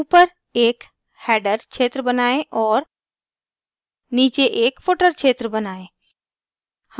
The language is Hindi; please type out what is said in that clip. * ऊपर एक हैडर क्षेत्र बनाएं और * नीचे एक footer क्षेत्र बनाएं